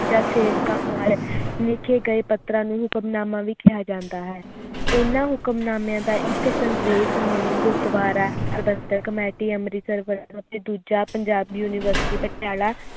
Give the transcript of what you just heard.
ਜਾ ਕਰਨ ਵਾਲੇ ਲਿਖੇ ਗਏ ਪੱਤਰਾਂ ਨੂੰ ਹੁਕਮਨਾਮਾ ਵੀ ਕਿਹਾ ਜਾਂਦਾ ਹੈ ਹਨ ਹੁਕਮਨਾਮਿਆਂ ਦਾ ਇਕ ਸੰਦੇਸ਼ ਮੌਨੀ ਗੁਰੂਦਵਾਰਾ ਕਮੇਟੀ ਅੰਮ੍ਰਿਤਸਰ ਵੱਲੋਂ ਅਤੇ ਦੂਜਾ ਪੰਜਾਬ university ਪਟਿਆਲਾ